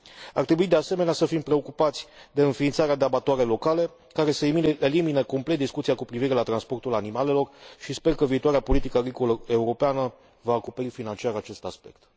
Ar trebui, de asemenea, să fim preocupați de înființarea de abatoare locale, care să elimine complet discuția cu privire la transportul animalelor, și sper că viitoarea politică agricolă europeană va acoperi financiar acest aspect.